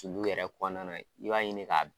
Sulu yɛrɛ kɔnɔna na i b'a ɲini k'a